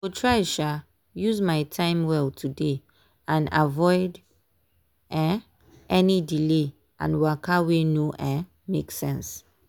go try um use my time well today and avoid um any delay and waka wey no um make sense.